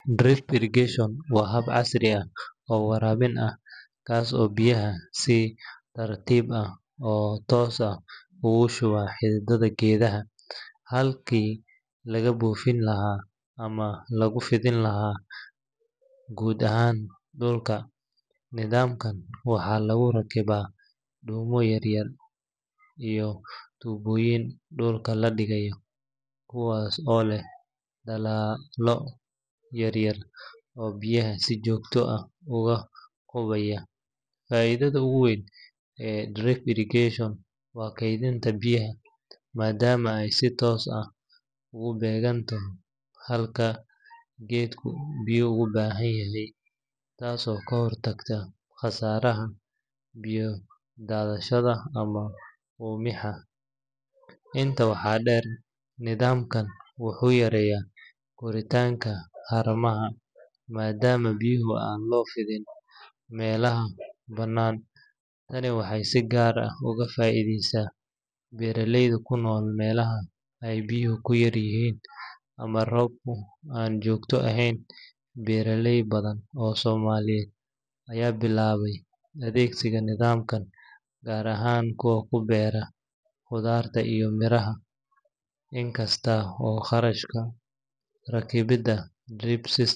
Drip irrigation waa hab casri ah oo waraabin ah kaas oo biyaha si tartiib ah oo toos ah ugu shuba xididdada geedaha, halkii laga buufin lahaa ama lagu fidiin lahaa guud ahaan dhulka. Nidaamkan waxaa lagu rakibaa dhuumo yaryar iyo tuubooyin dhulka la dhigayo, kuwaas oo leh daloolo yaryar oo biyaha si joogto ah uga qubaya. Faa’iidada ugu weyn ee drip irrigation waa kaydinta biyaha, maadaama ay si toos ah ugu beeganto halka geedku biyo u baahan yahay, taasoo ka hortagta khasaaraha biyo daadashada ama uumibaxa. Intaa waxaa dheer, nidaamkan wuxuu yareeyaa koritaanka haramaha maadaama biyaha aan loo fidin meelaha bannaan. Tani waxay si gaar ah ugu faa’iideysaa beeraleyda ku nool meelaha ay biyuhu ku yar yihiin ama roobku aan joogto ahayn. Beeraley badan oo Soomaaliyeed ayaa bilaabay adeegsiga nidaamkan, gaar ahaan kuwa ku beera khudradda iyo miraha. Inkasta oo kharashka rakibida drip system.